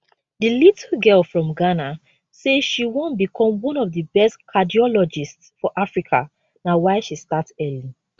di little girl from ghana say she wan become one of di best cardiologists for africa na why she start early